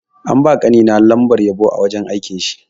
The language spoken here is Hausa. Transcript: An ba ƙani na lambar yabo a wurin aikin shi.